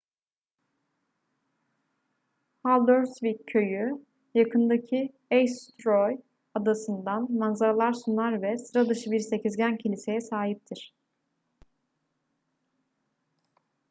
haldarsvík köyü yakındaki eysturoy adasından manzaralar sunar ve sıra dışı bir sekizgen kiliseye sahiptir